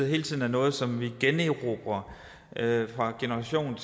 hele tiden er noget som vi generobrer fra generation